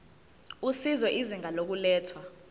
usizo izinga lokulethwa